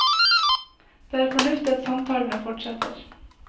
Det er fornuftig at samtalene fortsetter.